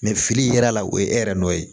fili yera la o ye e yɛrɛ nɔ ye